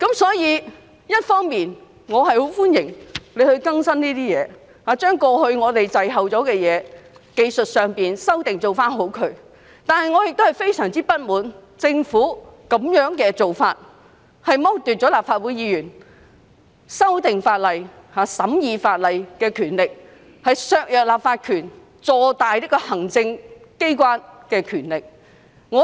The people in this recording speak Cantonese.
雖然我十分歡迎當局修訂《條例》，以期落實過去滯後的技術性修訂，但我亦非常不滿意政府的做法，因為會剝奪立法會議員修訂和審議法例的權力，削弱立法權而讓行政機關的權力坐大。